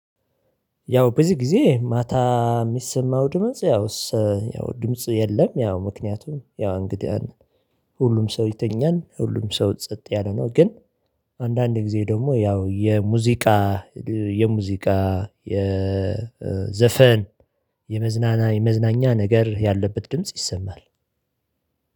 ያው በዚህ ጊዜ ማታ የሚሰማው ድምጽ ያው ያው ድምጽ የለም። ያው ምክንያቱም ያው እንግዲህ ሁሉም ሰው ይተኛል ሁሉም ሰው ጸጥ ያለ ነው። ግን አንዳንዴ ጊዜ ደግሞ ያው የሙዚቃ የሙዚቃ የዘፈን የመዝናኛ የመዝናኛ ነገር ያለበት ድምጽ ይሰማል።